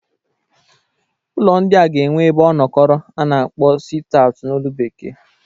Ụlọ ndịa ga-enwe ebe ọnọkọro a na-akpọ sit aut n'olu Bekee.